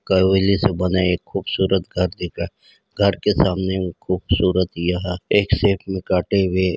कवैले से बना एक खूबसूरत कार्ति घर घर के सामने खूबसूरत यह एक शैप में काटे हुए --